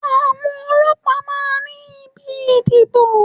Àwọn ọlọ́pàá máa ní ibi ìdìbò.